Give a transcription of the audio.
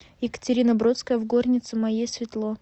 екатерина бродская в горнице моей светло